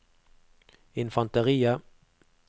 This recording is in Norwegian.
infanteriet